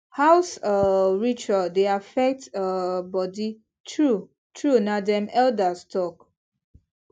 house um ritual dey affect um body true true na dem elders talk